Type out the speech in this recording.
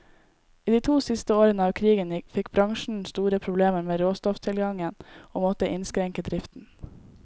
I de to siste årene av krigen fikk bransjen store problemer med råstofftilgangen, og måtte innskrenke driften.